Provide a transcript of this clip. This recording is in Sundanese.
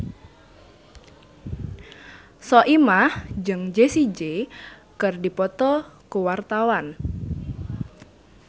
Soimah jeung Jessie J keur dipoto ku wartawan